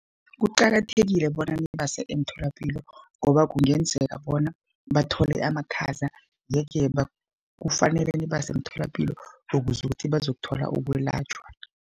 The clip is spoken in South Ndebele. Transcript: Kuqakathekile bona nibase emtholapilo, ngoba kungenzeka bona bathole amakhaza. Ye-ke kufanele nibase emtholapilo ukuze ukuthi bazokuthola ukwelatjhwa.